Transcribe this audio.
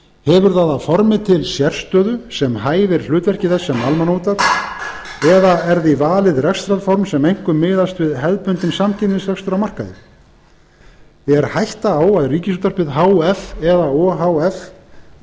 hefur það að formi til sérstöðu sem hæfir hlutverki þess sem almannaútvarps eða er því valið rekstrarform sem einkum miðast við hefðbundinn samkeppnisrekstur á markaði er hætta á að ríkisútvarpið h f eða o h f